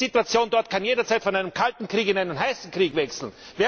Diese Situation dort kann jederzeit von einem kalten Krieg in einen heißen Krieg wechseln!